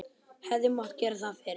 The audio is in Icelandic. Hefði mátt gera það fyrr?